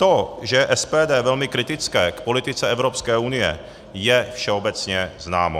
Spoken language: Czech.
To, že je SPD velmi kritické k politice Evropské unie, je všeobecně známo.